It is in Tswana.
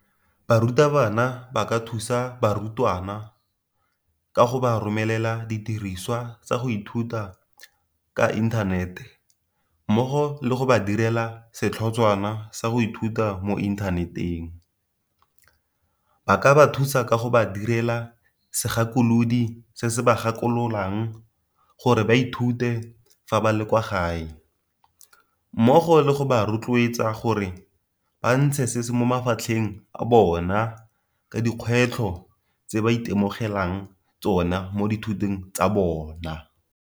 Barutabana ba ka thusa barutwana kago ba romelela didirisiwa tsa go ithuta ka inthanete mmogo le go ba direla setlhotshwana sa go ithuta mo inthaneteng, ba ka ba thusa ka go ba direla segakolodi se se ba gakololang gore ba ithute fa ba le kwa gae, mmogo le go ba rotloetsa gore ba ntshe se se mo mafatlheng a bona ka dikgwetlho tse ba itemogelang tsona mo dithutong tsa bona.